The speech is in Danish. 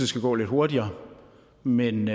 skal gå lidt hurtigere men